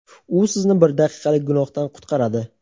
u sizni bir daqiqalik gunohdan qutqaradi.